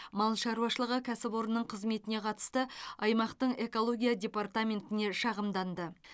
мал шаруашылығы кәсіпорнының қызметіне қатысты аймақтың экология департаментіне шағымданды